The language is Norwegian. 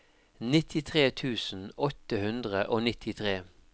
nittitre tusen åtte hundre og nittitre